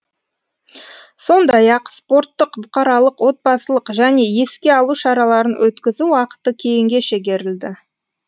сондай ақ спорттық бұқаралық отбасылық және еске алу шараларын өткізу уақыты кейінге шегерілді